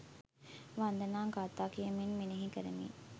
වන්දනා ගාථා කියමින් මෙනෙහි කරමින්